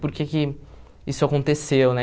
Por que que isso aconteceu, né?